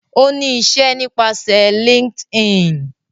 O ní iṣẹ nípasẹ LinkedIn